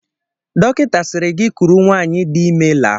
Dọkịta sịrị gị kuru nwaanyị dị ime laa.